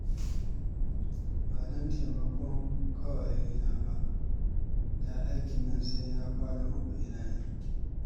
Ba don taimakonku ƙawayena ba, da aikin nan sai na kwana uku ina yi